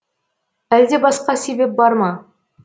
әлде басқа себеп бар ма